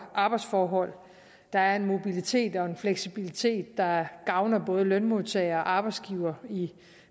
arbejdsforhold der er en mobilitet og en fleksibilitet der gavner både lønmodtagere og arbejdsgivere i